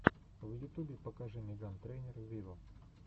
в ютубе покажи меган трейнер виво